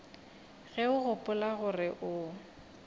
ge o gopola gore o